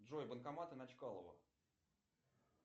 джой банкоматы на чкалова